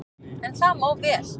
En það má vel,